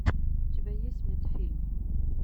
у тебя есть медфильм